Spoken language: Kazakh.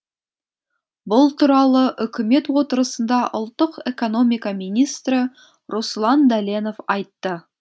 бұл туралы үкімет отырысында ұлттық экономика министрі руслан дәленов айтты